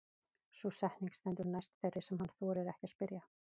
Sú setning stendur næst þeirri sem hann þorir ekki að spyrja.